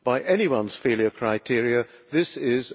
By anyone's failure criteria this